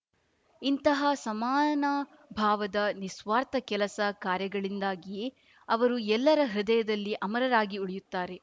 ಇಂತಹ ಸಮಾನಭಾವದ ನಿಸ್ವಾರ್ಥ ಕೆಲಸ ಕಾರ್ಯಗಳಿಂದಾಗಿಯೇ ಅವರು ಎಲ್ಲರ ಹೃದಯದಲ್ಲಿ ಅಮರರಾಗಿ ಉಳಿಯುತ್ತಾರೆ